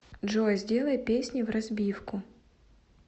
джой сделай песни вразбивку